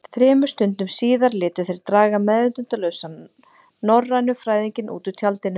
Þremur stundum síðar létu þeir draga meðvitundarlausan norrænufræðinginn út úr tjaldinu.